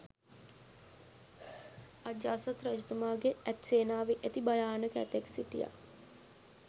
අජාසත් රජතුමාගේ ඇත් සේනාවේ ඇති භයනාක ඇතෙක් සිටියා